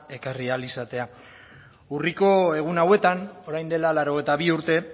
ekarri ahal izatea urriko egun hauetan orain dela laurogeita bi urte